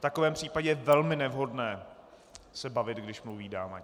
V takovém případě je velmi nevhodné se bavit, když mluví dáma.